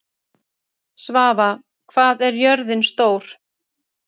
Svava, hvað er jörðin stór?